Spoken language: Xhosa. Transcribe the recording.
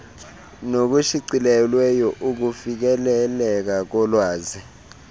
nokushicilelweyo ukufikeleleka kolwazi